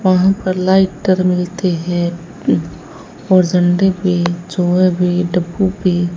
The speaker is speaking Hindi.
वहां पर लाइटर मिलते हैं और झंडे पे छोया भी डब्बू भी --